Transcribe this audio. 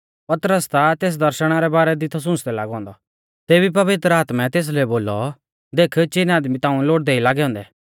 पतरस ता तेस दर्शणा रै बारै दी थौ सुंच़दै लागौ औन्दौ तेभी पवित्र आत्मै तेसलै बोलौ देख चिन आदमी ताऊं लोड़दै ई लागै औन्दै